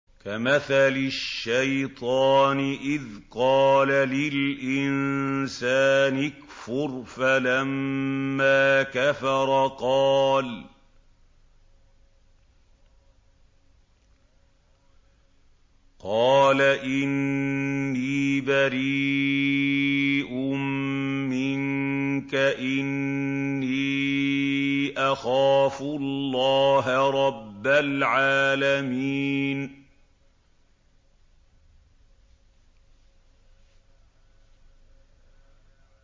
كَمَثَلِ الشَّيْطَانِ إِذْ قَالَ لِلْإِنسَانِ اكْفُرْ فَلَمَّا كَفَرَ قَالَ إِنِّي بَرِيءٌ مِّنكَ إِنِّي أَخَافُ اللَّهَ رَبَّ الْعَالَمِينَ